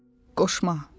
Qoşma.